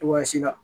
Cogoya si la